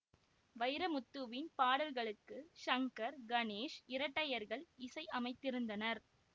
வைரமுத்துவின் பாடல்களுக்கு சங்கர் கணேஷ் இரட்டையர்கள் இசை அமைத்திருந்தனர்